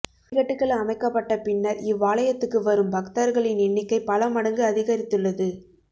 படிக்கட்டுகள் அமைக்கப்பட்ட பின்னர் இவ்வாலயத்துக்கு வரும் பக்தர்களின் எண்ணிக்கை பல மடங்கு அதிகரித்துள்ளது